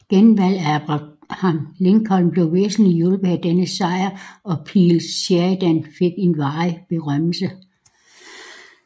Genvalget af Abraham Lincoln blev væsentligt hjulpet af denne sejr og Phil Sheridan fik en varig berømmelse